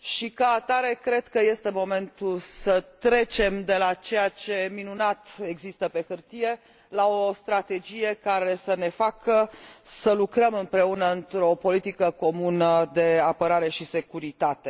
Ca atare, cred că este momentul să trecem de la ceea ce minunat există pe hârtie la o strategie care să ne facă să lucrăm împreună într o politică comună de apărare și securitate.